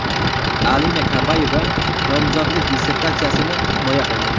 Alina Kabayeva nomzodlik dissertatsiyasini himoya qildi.